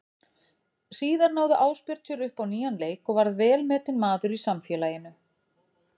Síðar náði Ásbjörn sér upp á nýjan leik og varð velmetinn maður í samfélaginu.